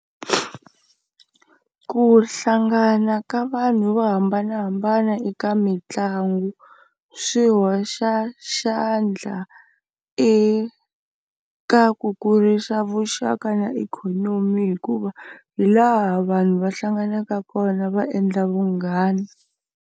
Ku hlangana ka vanhu vo hambanahambana eka mitlangu swi hoxa xandla eka ku kurisa vuxaka na ikhonomi hikuva hi laha vanhu va hlanganaka kona va endla vunghana.